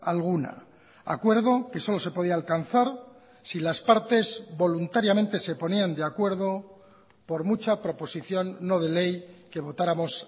alguna acuerdo que solo se podía alcanzar si las partes voluntariamente se ponían de acuerdo por mucha proposición no de ley que votáramos